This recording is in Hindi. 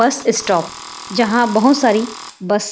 बस स्टॉप जहाँ बहुत सारी बस